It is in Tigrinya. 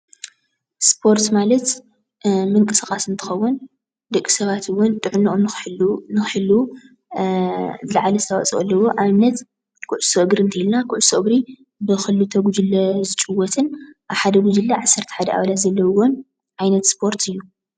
ስፖርት ማለት ምንቅስቃስ እንትኸዉን ደቂ ሰባት እዉን ጥዕነኦም ንክሕልዉ ዝልዓለ አስተዋፅኦ አለዎ። ንአብነት ኩዕሶ እግሪ እንቴልና ኩዕሶ እግሪ ብ ክልተ ጉጅለ ዝጭወትን አብ ሓደ ጉጅለ ዓሰርተ ሓደ ኣባላት ዘለውዎን ዓይነት ስፖርት እዩ።